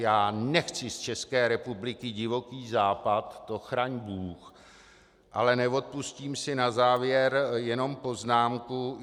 Já nechci z České republiky Divoký západ, to chraň bůh, ale neodpustím si na závěr jenom poznámku.